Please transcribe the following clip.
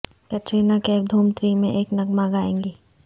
Katrina Kaif Dhoom three میں ایک نغمہ گائیں گی